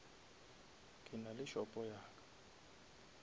ke nale shopo ya ka